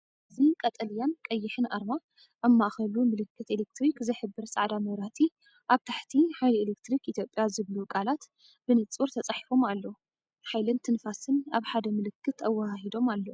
እዚ ቀጠልያን ቀይሕን ኣርማ፡ ኣብ ማእከሉ ምልክት ኤሌክትሪክ ዝሕብር ጻዕዳ መብራህቲ። ኣብ ታሕቲ "ሓይሊ ኤሌክትሪክ ኢትዮጵያ" ዝብሉ ቃላት ብንጹር ተጻሒፎም ኣለዉ፡ ሓይልን ትንፋስን ኣብ ሓደ ምልክት ኣወሃሂዶም ኣለዉ።